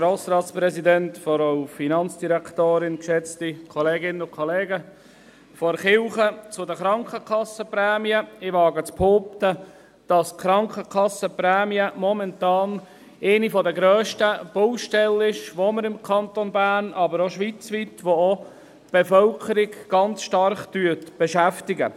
Von der Kirche zu den Krankenkassenprämien – ich wage zu behaupten, dass die Krankenkassenprämien momentan eine der grössten Baustellen sind, die wir im Kanton Bern, aber auch schweizweit haben, und die auch die Bevölkerung ganz stark beschäftigen.